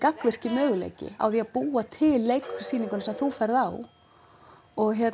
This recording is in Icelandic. gagnvirki möguleiki á að búa til leiksýninguna sem þú ferð á og